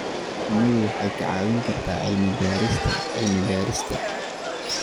Shinnidu waxay kaa caawin kartaa cilmi-baarista cilmi-baarista.